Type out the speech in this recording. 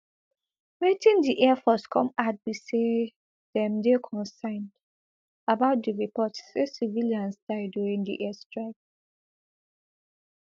wetin di air force come add be say dem dey concerned about di report say civilians die during di airstrike